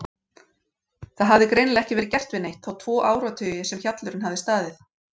Það hafði greinilega ekki verið gert við neitt þá tvo áratugi sem hjallurinn hafði staðið.